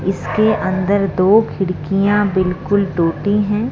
इसके अंदर दो खिड़कियां बिल्कुल टूटी हैं।